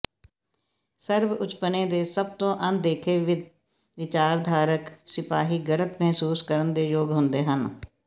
ਸਰਬਉਚਪੁਣੇ ਦੇ ਸਭ ਤੋਂ ਅਣਦੇਖੇ ਵਿਚਾਰਧਾਰਕ ਸਿਪਾਹੀ ਗਲਤ ਮਹਿਸੂਸ ਕਰਨ ਦੇ ਯੋਗ ਹੁੰਦੇ ਹਨ